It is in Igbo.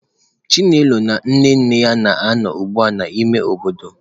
Chinelo na nne nne ya na-anọ ugbu a n'ime obodo.